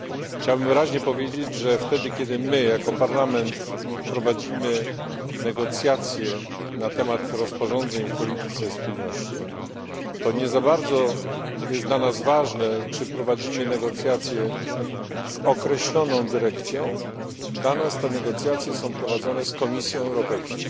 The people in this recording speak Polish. Chciałbym wyraźnie powiedzieć, że wtedy, kiedy my jako Parlament prowadzimy negocjacje na temat rozporządzeń w polityce spójności, to nie za bardzo jest dla nas ważne, czy prowadzimy negocjacje z określoną dyrekcją, dla nas te negocjacje są prowadzone z Komisją Europejską.